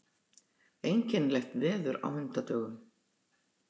Einkennilegt veður á hundadögum.